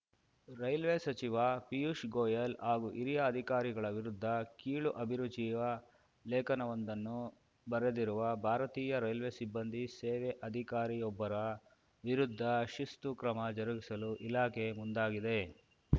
railway ಸಚಿವ ಪೀಯೂಷ್‌ ಗೋಯಲ್‌ ಹಾಗೂ ಹಿರಿಯ ಅಧಿಕಾರಿಗಳ ವಿರುದ್ಧ ಕೀಳು ಅಭಿರುಚಿಯ ಲೇಖನವೊಂದನ್ನು ಬರೆದಿರುವ ಭಾರತೀಯ ರೈಲ್ವೆ ಸಿಬ್ಬಂದಿ ಸೇವೆ ಅಧಿಕಾರಿಯೊಬ್ಬರ ವಿರುದ್ಧ ಶಿಸ್ತು ಕ್ರಮ ಜರುಗಿಸಲು ಇಲಾಖೆ ಮುಂದಾಗಿದೆ